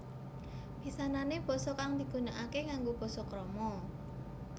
Pisanané basa kang digunakaké nganggo basa krama